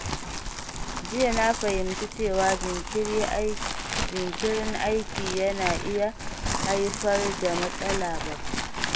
Jiya na fahimci cewa jinkirin aiki na iya haifar da matsala babba.